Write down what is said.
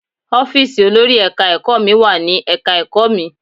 Ọ́fíìsì olórí Ẹ̀ka-ẹ̀kọ́ mi wà ní Ẹ̀ka-ẹ̀kọ́ mi.